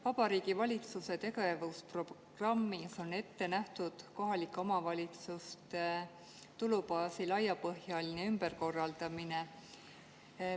Vabariigi Valitsuse tegevusprogrammis on ette nähtud kohalike omavalitsuste tulubaasi laiapõhjaline ümberkorraldamine.